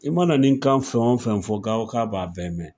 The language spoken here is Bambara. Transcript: I mana nin kan fɛn o fɛn fɔ k'a b'a bɛɛ mɛn.